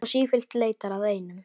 Og sífellt leitar að einum.